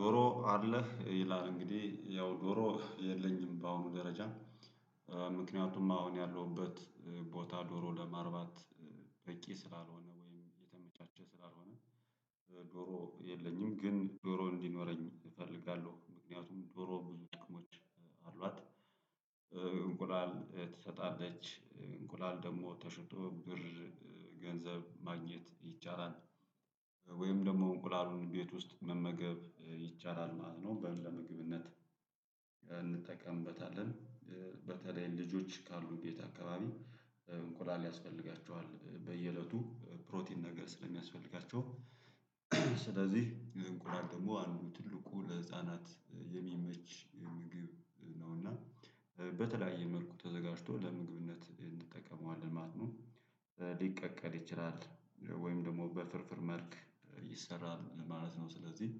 ዶሮ አለህ ይላል እንግዲህ ያው ዶሮ የለኝም በአሁኑ ደረጃ። ምክንያቱም አሁን ያለሁበት ቦታ ዶሮ ለማርባት በቂ ስላልሆነ ወይም የተመቻቸ ስላልሆነ። ዶሮ የለኝም ግን ዶሮ እንዲኖረኝ እፈልጋለሁ ምክንያቱም ዶሮ ብዙ ጥቅሞች አሏት። እንቁላል ትሰጣለች እንቁላል ደግሞ ተሽጦ ብር ገንዘብ ማግኘት ይቻላል። ወይም ደግሞ እንቁላሉን ቤት ውስጥ መመገብ ይቻላል ማለት ነው በለምግብነት እንጠቀምበታለን። በተለይ ልጆች ካሉ ቤት አካባቢ እንቁላል ያስፈልጋቸዋል በየእለቱ ፕሮቲን ነገር ስለሚያስፈልጋቸው። ስለዚህ እንቁላል ደግሞ አንዱ ትልቁ ለህፃናት የሚመች ምግብ ነውና በተለያየ መልኩ ተዘጋጅቶ ለምግብነት እንጠቀመዋለን ማለት ነው። ሊቀቀል ይችላል ወይም ደግሞ በፍርፍር መልክ ይሰራል ማለት ነው። ስለዚህ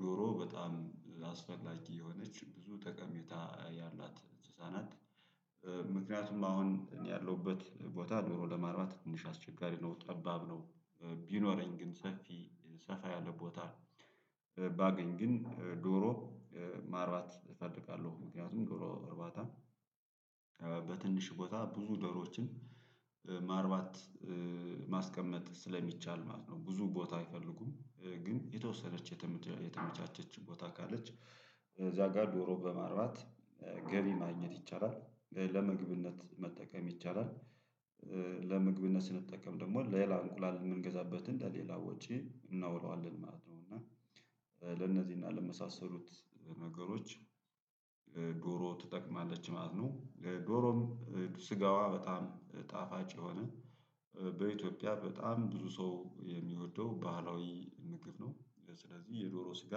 ዶሮ በጣም ላስፈላጊ የሆነች ብዙ ጠቀሜታ ያላት እንስሳናት። ምክንያቱም አሁን እኔ ያለሁበት ቦታ ዶሮ ለማርባት ትንሽ አስቸጋሪ ነው ጠባብ ነው። ቢኖረኝ ግን ሰፊ ሰፋ ያለ ቦታ ባገኝ ግን ዶሮ ማርባት እፈልጋለሁ። ምክንያቱም ዶሮ እርባታ በትንሽ ቦታ ብዙ ደሮችን ማርባት ማስቀመጥ ስለሚቻል ማለት ነው። ብዙ ቦታ አይፈልጉም ግን የተወሰነች የተመች የተመቻቸች ቦታ ካለች እዛ ጋር ዶሮ በማርባት ገቢ ማግኘት ይቻላል ለምግብነት መጠቀም ይቻላል። ለምግብነት ስንጠቀም ደግሞ ሌላ እንቁላል የምንገዛበትን ለሌላ ወጪ እናውለዋለን ማለት ነው። እና ለነዚህና ለመሳሰሉት ነገሮች ዶሮ ትጠቅማለች ማለት ነው። ዶሮም ስጋዋ በጣም ጣፋጭ የሆነ በኢትዮጵያ በጣም ብዙ ሰው የሚወደው ባህላዊ ምግብ ነው። ስለዚህ የዶሮ ስጋ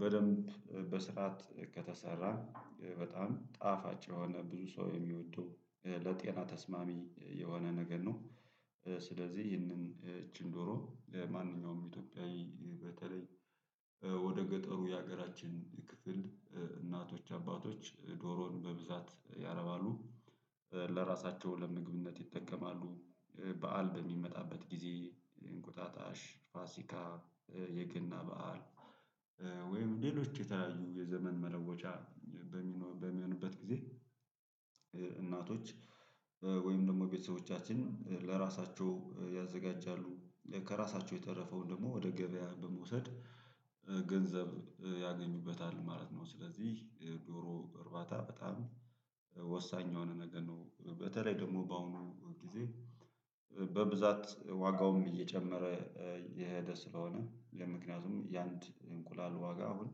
በደንብ በስርዓት ከተሰራ በጣም ጣፋጭ የሆነ ብዙ ሰው የሚወደው ለጤና ተስማሚ የሆነ ነገር ነው። ስለዚህ ይህንን እቺን ዶሮ ማንኛውም ኢትዮጵያዊ በተለይ ወደ ገጠሩ የሀገራችን ክፍል እናቶች አባቶች ዶሮን በብዛት ያረባሉ ለራሳቸው ለምግብነት ይጠቀማሉ። በዓል በሚመጣበት ጊዜ እንቁጣጣሽ ፋሲካ የገና በዓል ወይም ሌሎች የተለያዩ የዘመን መለወጫ በሚሆ በሚሆንበት ጊዜ። እናቶች ወይም ደግሞ ቤተሰቦቻችን ለራሳቸው ያዘጋጃሉ ከራሳቸው የተረፈውን ደግሞ ወደ ገበያ በመውሰድ ገንዘብ ያገኙበታል ማለት ነው። ስለዚህ ዶሮ እርባታ በጣም ወሳኝ የሆነ ነገር ነው። በተለይ ደግሞ በአሁኑ ጊዜ በብዛት ዋጋውም እየጨመረ የሄደ ስለሆነ ምክንያቱም የአንድ እንቁላል ዋጋ አሁን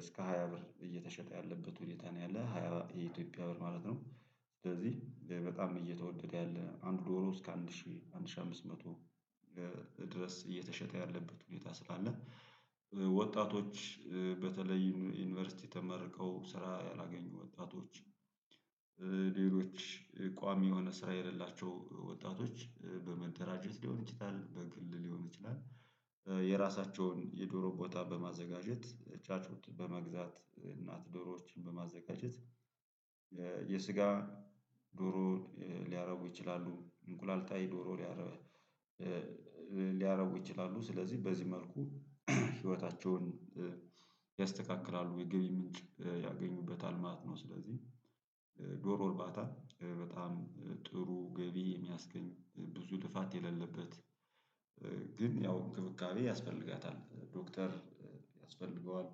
እስከ ሃያ ብር እየተሸጠ ያለበት ሁኔታ ነው ያለ ሃያ የኢትዮጵያ ብር ማለት ነው። ስለዚህ በጣም እየተወደደ ያለ አንድ ዶሮ እስከ አንድ ሺህ አንድ ሺህ አምስት መቶ ድረስ እየተሸጠ ያለበት ሁኔታ ስላለ። ወጣቶች በተለይ ዩኒቨርሲቲ ተመርቀው ስራ ያላገኙ ወጣቶች ሌሎች ቋሚ የሆነ ስራ የሌላቸው ወጣቶች በመደራጀት ሊሆን ይችላል በግል ሊሆን ይችላል። የራሳቸውን የዶሮ ቦታ በማዘጋጀት ጫጩት በመግዛት እናት ዶሮዎችን በማዘጋጀት የስጋ ዶሮ ሊያረቡ ይችላሉ እንቁላል ጣይ ዶሮ ሊያረቡ ይችላሉ ስለዚህ በዚህ መልኩ ህይወታቸውን ያስተካክላሉ የገቢ ምንጭ ያገኙበታል ማለት ነው። ስለዚህ ዶሮ እርባታ በጣም ጥሩ ገቢ የሚያስገኝ ብዙ ልፋት የሌለበት። ግን ያው እንክብካቤ ያስፈልጋታል ዶክተር ያስፈልገዋል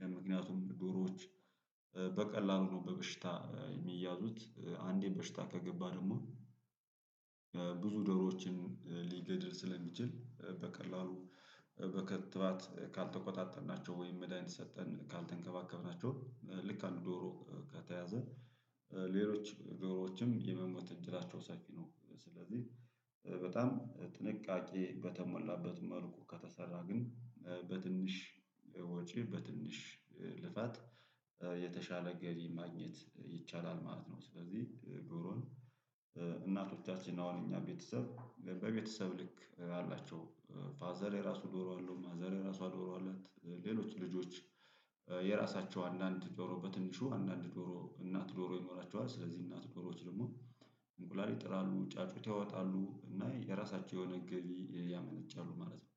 ለምክንያቱም ዶሮዎች በቀላሉ ነው በበሽታ የሚያዙት አንዴን በሽታ ከገባ ደግሞ። ብዙ ዶሮዎችን ሊገድል ስለሚችል በቀላሉ በክትባት ካልተቆጣጠርናቸው ወይም መድሃኒት ሰጠን ካልተንከባከብናቸው ልክ አንድ ዶሮ ከተያዘ ሌሎች ዶሮዎችም የመሞት እድላቸው ሰፊ ነው። ስለዚህ በጣም ጥንቃቄ በተሞላበት መልኩ ከተሰራ ግን በትንሽ ወጪ በትንሽ ልፋት የተሻለ ገቢ ማግኘት ይቻላል ማለት ነው። ስለዚህ ዶሮን እናቶቻችን አሁን እኛ ቤተሰብ በቤተሰብ ልክ አላቸው። ፋዘር የራሱ ዶሮ አለው ማዘር የራሷ ዶሮ አላት ሌሎች ልጆች የራሳቸው አንዳንድ ዶሮ በትንሹ አንዳንድ ዶሮ እናት ዶሮ ይኖራቸዋል። ስለዚህ እናት ጆሮዎች ደግሞ እንቁላል ይጥላሉ ጫጩት ያወጣሉ እና የራሳቸው የሆነ ገቢ ያመነጫሉ ማለት ነው